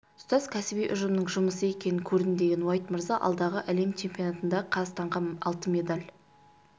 тұтас кәсіби ұжымның жұмысы екенін көрдім деген уайт мырза алдағы әлем чемпионатында қазақстанға алтын медаль